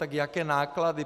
Tak jaké náklady?